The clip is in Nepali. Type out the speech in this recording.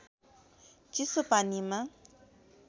चिसो पानीमा